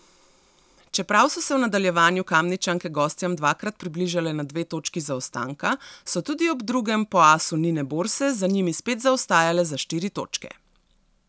Čeprav so se v nadaljevanju Kamničanke gostjam dvakrat približale na dve točki zaostanka, so tudi ob drugem, po asu Nine Borse za njimi spet zaostajale za štiri točke.